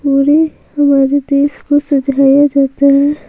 पूरे हमारे देश को सझाया जाता है।